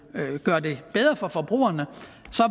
gøre det bedre for forbrugerne